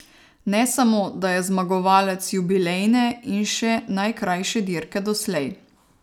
Ne samo, da je zmagovalec jubilejne in še najkrajše dirke doslej.